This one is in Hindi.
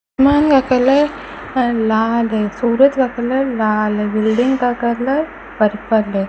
आसमान का कलर लाल है सूरज का कलर लाल है बिल्डिंग का कलर पर्पल है।